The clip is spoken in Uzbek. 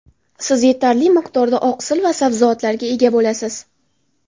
Siz yetarli miqdorda oqsil va sabzavotlarga ega bo‘lasiz.